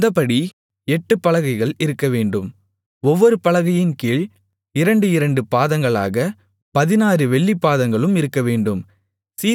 அந்தப்படி எட்டுப் பலகைகள் இருக்கவேண்டும் ஒவ்வொரு பலகையின் கீழ் இரண்டு இரண்டு பாதங்களாகப் பதினாறு வெள்ளிப் பாதங்களும் இருக்கவேண்டும்